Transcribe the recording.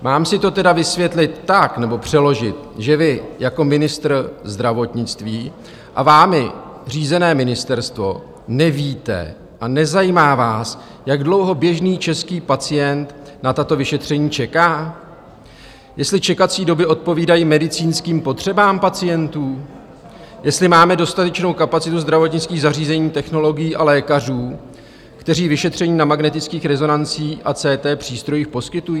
Mám si to tedy vysvětlit tak nebo přeložit, že vy jako ministr zdravotnictví a vámi řízené ministerstvo nevíte a nezajímá vás, jak dlouho běžný český pacient na tato vyšetření čeká, jestli čekací doby odpovídají medicínským potřebám pacientů, jestli máme dostatečnou kapacitu zdravotnických zařízení, technologií a lékařů, kteří vyšetření na magnetických rezonancích a CT přístrojích poskytují?